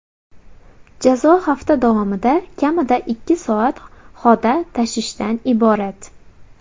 Jazo hafta davomida kamida ikki soat xoda tashishdan iborat.